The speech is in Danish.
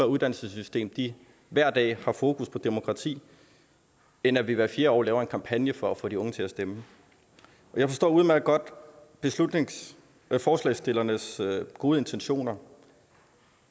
uddannelsessystem hver dag har fokus på demokrati end at vi hvert fjerde år laver en kampagne for at få de unge til at stemme jeg forstår udmærket godt forslagsstillernes gode intentioner